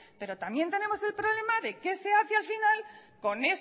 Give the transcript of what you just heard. pero también tenemos el problema de qué se hace al final con